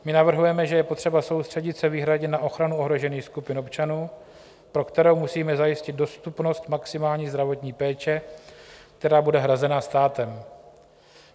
My navrhujeme, že je potřeba soustředit se výhradně na ochranu ohrožených skupin občanů, pro které musíme zajistit dostupnost maximální zdravotní péče, která bude hrazena státem.